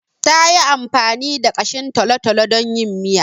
Ta yi amfani da ƙashin talo-talo don yin miya.